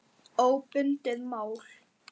Óbundið mál